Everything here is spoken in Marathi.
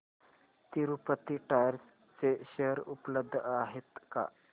तिरूपती टायर्स चे शेअर उपलब्ध आहेत का